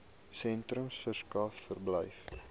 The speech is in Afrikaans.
sentrums verskaf verblyf